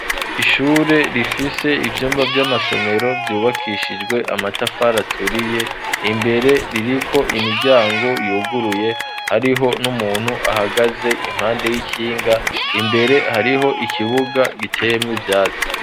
Ishure rifise ivyumba vy'amasomero vyubakishijwe amatafari aturiye imbere ririko imiryango yuguruye hariho n'umuntu ahagaze impande y'ikinga imbere hariho ikibuga giteyemwo ivyatsi.